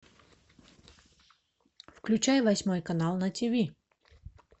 включай восьмой канал на тв